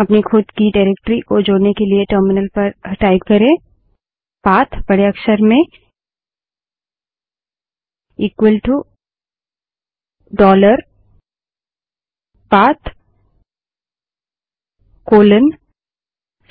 अपनी खुद की निर्देशिका डाइरेक्टरी को जोड़ने के लिए टर्मिनल पर टाइप करे पाथबड़े अक्षर में इक्वल टू डॉलर पाथ फिर